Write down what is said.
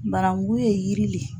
Barangu ye yiri le.